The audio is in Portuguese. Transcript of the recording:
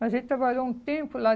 Mas ele trabalhou um tempo lá.